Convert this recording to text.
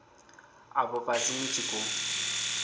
afho fhasi ni tshi khou